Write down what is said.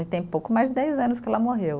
E tem pouco mais de dez anos que ela morreu.